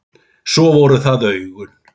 Svo voru það augun.